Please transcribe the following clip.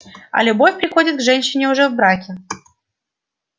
а любовь приходит к женщине уже в браке